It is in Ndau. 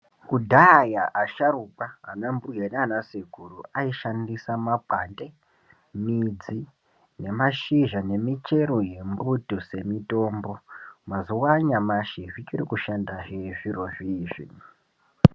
Kudhaya asharukwa ana mbuya nana sekuru aishandisa makwande midzi nemashizha nemichero yembuti dzemitombo mazuva anyamashi dzichiri kushandahe zviro zvozvi.